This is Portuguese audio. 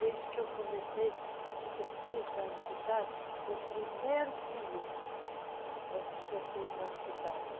Desde que comecei com dezeseis anos de idade, o primeiro plié aos dezeseis anos de idade.